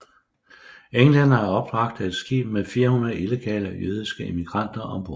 Englænderne opbragte et skib med 400 illegale jødiske immigranter ombord